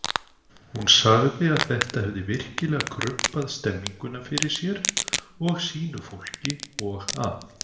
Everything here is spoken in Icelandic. Hún sagði að þetta hefði virkilega krumpað stemmninguna fyrir sér og sínu fólki og að